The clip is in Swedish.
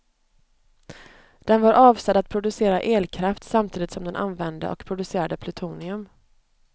Den var avsedd att producera elkraft samtidigt som den använde och producerade plutonium.